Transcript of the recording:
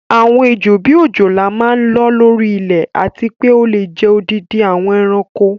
Àwọn Ejò, bíi òjòlá máa ń lọ́ lórí ilẹ̀ àti pé ó lè jẹ odindi àwọn ẹranko.